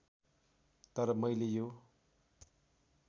तर मैले यो